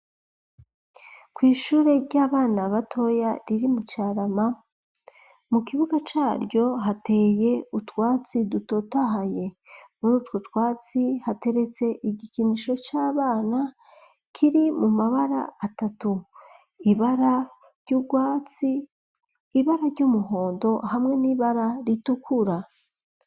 Kwishure ry'abana batoya riri mu carama mu kibuga ca ryo hateye utwatsi dutotahaye muritwo twatsi hateretse igikinisho c'abana kiri mu mabara atatu ibara ry'ubwatsi ibara ryumuhondo hamwe n'ibara ritukura.